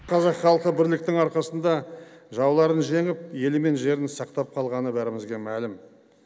қазақ халқы бірліктің арқасында жауларын жеңіп елі мен жерін сақтап қалғаны бәрімізге мәлім